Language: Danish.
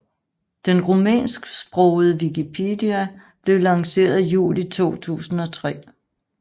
Den rumænsksprogede wikipedia blev lanceret juli 2003